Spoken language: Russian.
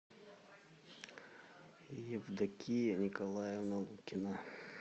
евдокия николаевна лукина